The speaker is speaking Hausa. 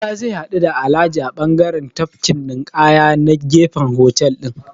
Musa zai haɗu da Alhaji a bangaren tafkin ninƙaya na gefen hotel ɗin.